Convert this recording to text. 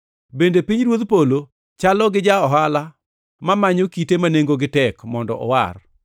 “Bende pinyruodh polo chalo gi ja-ohala mamanyo kite ma nengogi tek mondo owar.